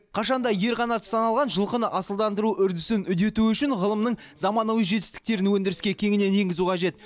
қашан да ер қанаты саналған жылқыны асылдандыру үрдісін үдету үшін ғылымның заманауи жетістіктерін өндіріске кеңінен енгізу қажет